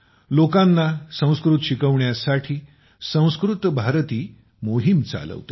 लोकांना संस्कृत शिकवण्यासाठी संस्कृत भारती मोहीम चालवते